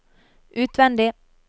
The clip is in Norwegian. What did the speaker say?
utvendig